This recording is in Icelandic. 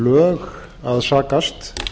lög að sakast